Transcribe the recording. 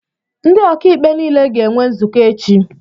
Ndị ọkàikpe nile ga-enwe nzukọ echi